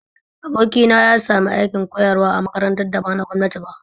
Abokina ya sami aikin koyarwa a makarantar da ba na gwamnati ba